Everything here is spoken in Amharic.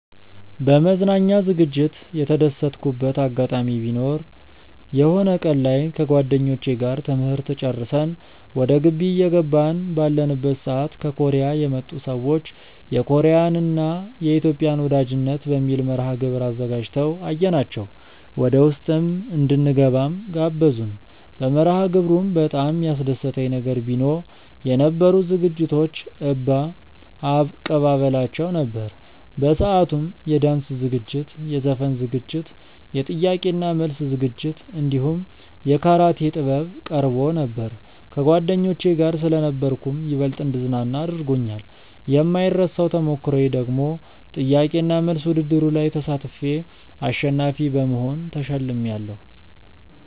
በመዝናኛ ዝግጅት የተደሰትኩበት አጋጣሚ ቢኖር የሆነ ቀን ላይ ከጓደኞቼ ጋር ትምህርት ጨርሰን ወደ ግቢ እየገባን ባለንበት ሰዓት ከኮርያ የመጡ ሰዎች የኮርያን እና የኢትዮጵያን ወዳጅነት በሚል መርሐግብር አዘጋጅተው አየናቸው ወደውስጥ እንድንገባም ጋበዙን። በመርሐግብሩም በጣም ያስደሰተኝ ነገር ቢኖ የነበሩት ዝግጅቶች እባ አቀባበላቸው ነበር። በሰአቱም የዳንስ ዝግጅት፣ የዘፈን ዝግጅት፣ የጥያቄ እና መልስ ዝግጅት እንዲሁም የካራቴ ጥበብ ቀርቦ ነበር። ከጓደኞቼ ጋር ስለነበርኩም ይበልጥ እንድዝናና አድርጎኛል። የማይረሳው ተሞክሮዬ ደግሞ ጥያቄ እና መልስ ውድድሩ ላይ ተሳትፌ አሸናፊ በመሆን ተሸልሜያለው።